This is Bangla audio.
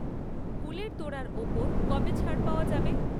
ফুলের তোড়ার ওপর কবে ছাড় পাওয়া যাবে?